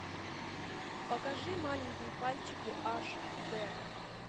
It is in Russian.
покажи маленькие пальчики аш д